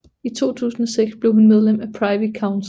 I 2006 blev hun medlem af Privy Council